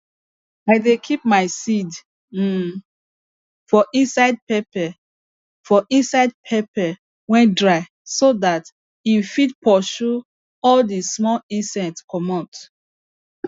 i dey keep my seed um for inside pepper for inside pepper wey dry so that im fit pursue all dis small insects comot